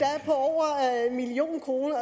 million kroner